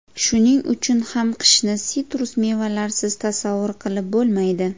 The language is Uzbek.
Shuning uchun ham qishni sitrus mevalarsiz tasavvur qilib bo‘lmaydi.